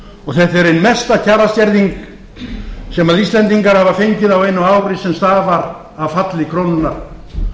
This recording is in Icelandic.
og þetta er ein mesta kjaraskerðing sem íslendingar hafa fengið á einu ári sem stafar af falli krónunnar